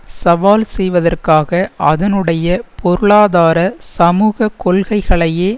சவால் செய்வதற்காக அதனுடைய பொருளாதார சமுக கொள்கைகளையே